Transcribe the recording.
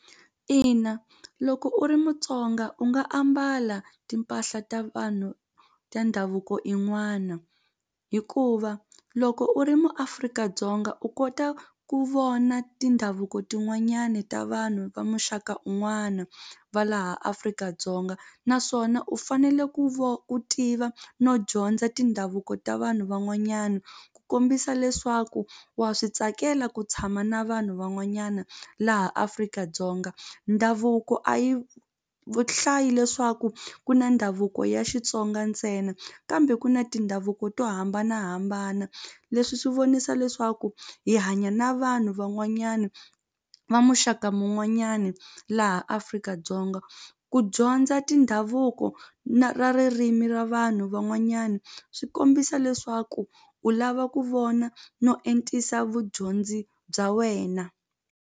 Ina loko u ri Mutsonga u nga ambala timpahla ta vanhu ta ndhavuko in'wana hikuva loko u ri muAfrika-Dzonga u kota ku vona tindhavuko tin'wanyani ta vanhu va muxaka un'wana va laha Afrika-Dzonga naswona u fanele ku ku tiva no dyondza tindhavuko ta vanhu van'wanyana ku kombisa leswaku wa swi tsakela ku tshama na vanhu van'wanyana laha Afrika-Dzonga ndhavuko a yi hlayi leswaku ku na ndhavuko ya Xitsonga ntsena kambe ku na tindhavuko to hambanahambana leswi swi vonisa leswaku hi hanya na vanhu van'wanyana va muxaka mun'wanyani laha Afrika-Dzonga ku dyondza tindhavuko na ra ririmi ra vanhu van'wanyana swi kombisa leswaku u lava ku vona no entisisa vudyondzi bya wena.